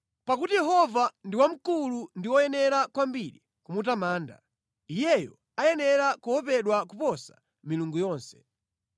Pakuti Yehova ndi wamkulu ndi woyenera kwambiri kumutamanda; Iyeyo ayenera kuopedwa kuposa milungu yonse.